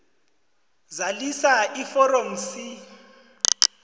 zalisa iforomo c